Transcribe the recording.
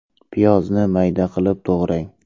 Piyozni mayda qilib to‘g‘rang.